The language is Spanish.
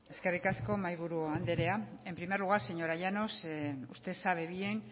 eskerrik asko mahaiburu andrea en primer lugar señora llanos usted sabe bien